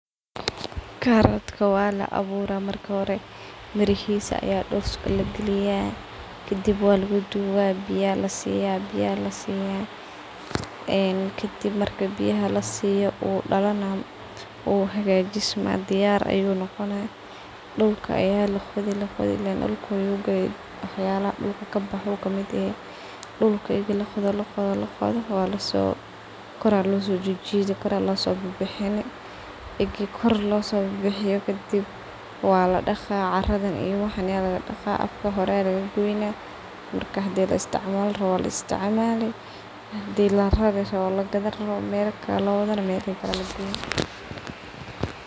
Karotka wala aburaah marka hore, mirahisa ayaa dulka lagaliyaah, kadib walugudugaah , biyaa alasiyaah , kadib marki biyaha lasiyo diyar ayuu noqonaah , usobaxaah uu weynanna uu ficnana u dalanh uu hagajismaah . Diyar ayuu noqonaah waxyalaha dulka kabaxo uu kamid yahay dulka egi laqodo laqodo kadib kor ayaa losobixini walasojhijidi , hadi laisticmali rabo walarari lagadan rawo mela kale lowado melaha kale aa lageyni.